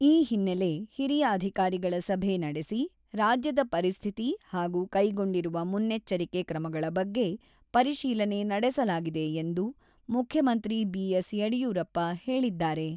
ಈ ಹಿನ್ನೆಲೆ ಹಿರಿಯ ಅಧಿಕಾರಿಗಳ ಸಭೆ ನಡೆಸಿ, ರಾಜ್ಯದ ಪರಿಸ್ಥಿತಿ ಹಾಗೂ ಕೈಗೊಂಡಿರುವ ಮುನ್ನೆಚ್ಚರಿಕೆ ಕ್ರಮಗಳ ಬಗ್ಗೆ ಪರಿಶೀಲನೆ ನಡೆಸಲಾಗಿದೆ ಎಂದು ಮುಖ್ಯಮಂತ್ರಿ ಬಿ.ಎಸ್.ಯಡಿಯೂರಪ್ಪ ಹೇಳಿದ್ದಾರೆ.